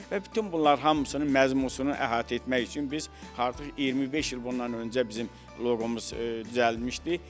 Və bütün bunlar hamısının məzmununu əhatə etmək üçün biz artıq 25 il bundan öncə bizim loqomuz düzəldilmişdi.